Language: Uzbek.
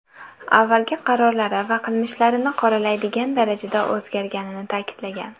Avvalgi qarorlari va qilmishlarini qoralaydigan darajada o‘zgarganini ta’kidlagan.